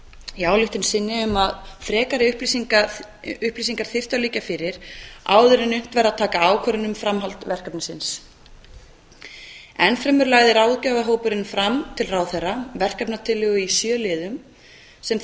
í ályktun sinni um að frekari upplýsingar þyrftu að liggja fyrir áður en unnt væri að taka ákvörðun um framhald verkefnisins enn fremur lagði ráðgjafarhópurinn fram til ráðherra verkefnatillögu í sjö liðum sem